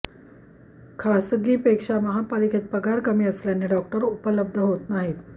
खासगीपेक्षा महापालिकेत पगार कमी असल्याने डॉक्टर उपलब्ध होत नाहीत